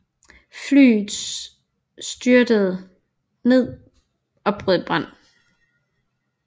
Flyets styrtede ned og brød i brand